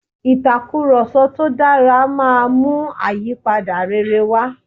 ìtakùròsọ tó dára máa mú àyípadà rere wá